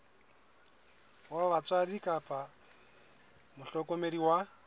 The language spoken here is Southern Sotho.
wa batswadi kapa mohlokomedi wa